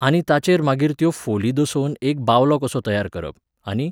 आनी ताचेर मागीर त्यो फोली दसोवन एक बावलो कसो तयार करप, आनी